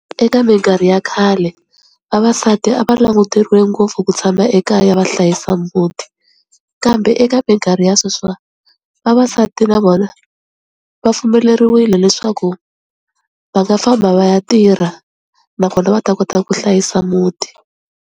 Eka minkarhi ya khale vavasati a va languteriwe ngopfu ku tshama ekaya va hlayisa muti kambe eka minkarhi ya sweswiwa vavasati na vona va pfumeleriwile leswaku va nga famba va ya tirha nakona va ta kota ku hlayisa muti.